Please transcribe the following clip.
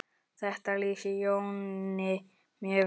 Þetta lýsir Jóni mjög vel.